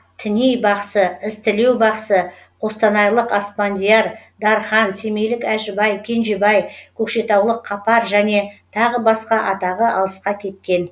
тіней бақсы ізтілеу бақсы қостанайлық аспандияр дархан семейлік әжібай кенжебай көкшетаулық қапаржәне тағы басқа атағы алысқа кеткен